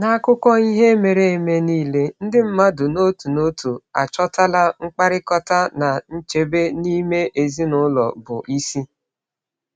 N’akụkọ ihe mere eme niile, ndị mmadụ n’otu n’otu achọtala mkpakọrịta na nchebe n’ime ezinụlọ bụ isi.